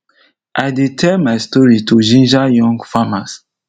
i dey tell my story to ginger young farmers